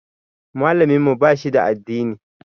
Malamin mu ba shi da addini.